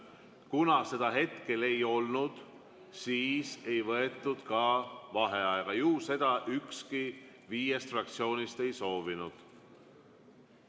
Kuna seda hetkel ei olnud, siis ei võetud ka vaheaega, ju seda ükski viiest fraktsioonist ei soovinud.